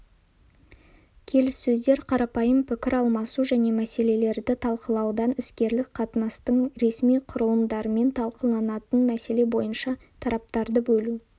келіссөздер қарапайым пікір алмасу және мәселелерді талқылаудан іскерлік қатынастың ресми құрылымдарымен талқыланатын мәселе бойынша тараптарды бөлу